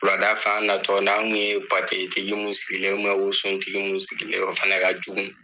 Wuladafɛ, an natɔ n'an tu ye patɛtigi mun sigilen ye wusotigi minu sigilen yé, o fana ka jugu!